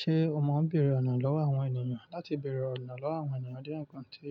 Ṣé o mọ bere ọ̀nà lọ́wọ́ àwọn ènìyàn? Láti bèrè ọ̀nà lọ́wọ́ àwọn ènìyàn jẹ́ ǹkan tí